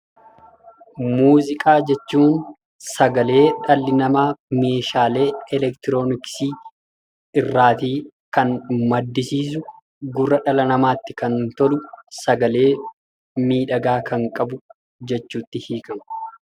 Muuziqaa jechuun sagalee dhalli namaa meeshaalee elektirooniksii irraa maddisiisuu, gurra dhala namaatti kan tolu, sagalee miidhagaa kan qabu jechuun hiikama.